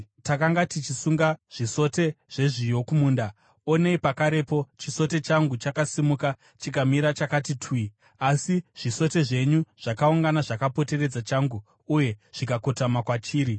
Takanga tichisunga zvisote zvezviyo kumunda onei pakarepo chisote changu chakasimuka chikamira chakati twi, asi zvisote zvenyu zvakaungana zvakapoteredza changu uye zvikakotama kwachiri.”